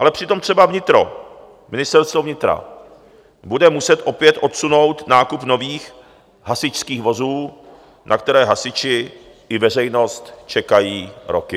Ale přitom třeba vnitro, Ministerstvo vnitra, bude muset opět odsunout nákup nových hasičských vozů, na které hasiči i veřejnost čekají roky.